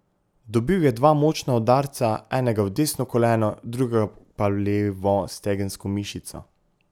Dobil je dva močna udarca, enega v desno koleno, drugega pa v levo stegensko mišico.